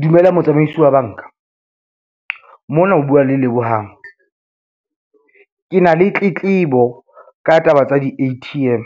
Dumela motsamaisi wa banks, mona o bua le Lebohang. Ke na le tletlebo ka taba tsa di-A_T_M.